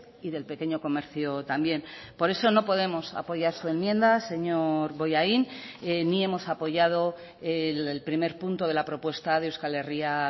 y del pequeño comercio también por eso no podemos apoyar su enmienda señor bollain ni hemos apoyado el primer punto de la propuesta de euskal herria